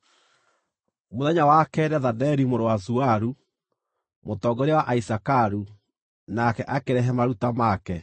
Mũthenya wa keerĩ Nethaneli mũrũ wa Zuaru, mũtongoria wa Aisakaru, nake akĩrehe maruta make.